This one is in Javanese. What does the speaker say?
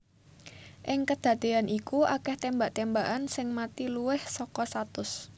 Ing kedadean iku akeh tembak tembakan sing mati luwih saka satus